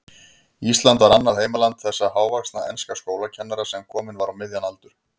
Ísland var annað heimaland þessa hávaxna enska skólakennara, sem kominn var á miðjan aldur.